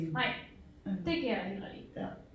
nej det kan jeg heller ikke